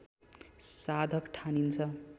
साधक ठानिन्छ